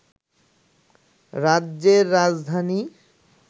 রাজ্যের রাজধানী